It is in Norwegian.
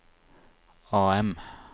AM